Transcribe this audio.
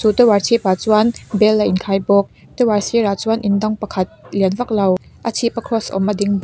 tower chhip ah chuan bel a in khai bawk tower sirah chuan in dang pakhat lian vak lo a chhip a kross awm a ding.